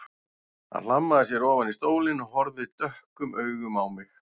Hann hlammaði sér ofan í stólinn og horfði dökkum augum á mig.